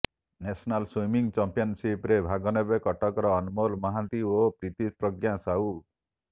national swimming ଚାମ୍ପିଅନ୍ସିପ୍ରେ ଭାଗ ନେବେ କଟକର ଅନମୋଲ ମହାନ୍ତି ଓ ପ୍ରୀତିପ୍ରଜ୍ଞା ସାହୁ